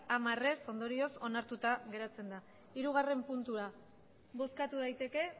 a favor diez votos en contra ondorioz onartuta geratzen da hirugarren puntura bozkatu daiteke